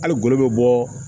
Hali golo bɛ bɔ